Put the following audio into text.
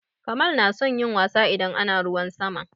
Kamal na son yin wasa idan ana ruwan sama.